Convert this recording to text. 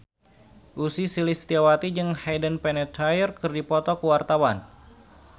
Ussy Sulistyawati jeung Hayden Panettiere keur dipoto ku wartawan